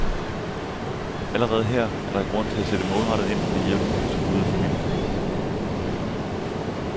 Allerede her er der grund til at sætte målrettet ind med hjælp til de truede familier.